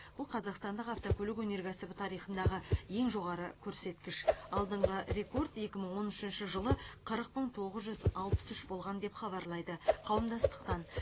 бұл қазақстандық автокөлік өнеркәсібі тарихындағы ең жоғары көрсеткіш алдыңғы рекорд екі мың он үшінші жылы қырық мың тоғыз жүз алпыс үш болған деп хабарлайды қауымдастықтан